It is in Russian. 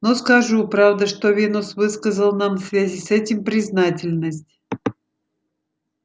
но скажу правда что венус выказал нам в связи с этим признательность